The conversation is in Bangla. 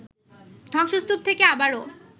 ধ্বংসস্তূপ থেকে আবারও